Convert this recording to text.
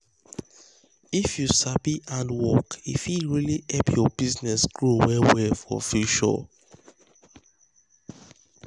if you sabi hand work e fit really help your business grow well well for future.